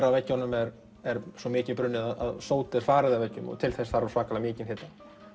á veggjunum er er svo mikið brunnið að sót er farið af veggjunum og til þess þarf alveg svakalega mikinn hita